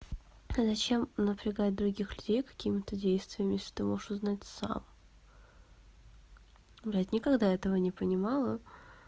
а зачем напрягать других людей какими-то действиями если ты можешь узнать сам блядь никогда этого не понимала